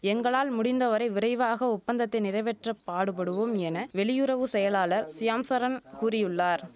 எங்களால் முடிந்த வரை விரைவாக ஒப்பந்தத்தை நிறைவேற்றப் பாடுபடுவோம் என வெளியுறவு செயலாளர் ஷியாம் சரண் கூறியுள்ளார்